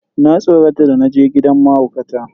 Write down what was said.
Na tsorata da naje gidan mahaukata.